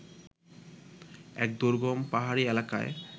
এক দুর্গম পাহাড়ি এলাকায়